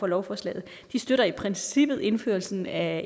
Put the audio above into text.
lovforslaget de støtter i princippet indførelsen af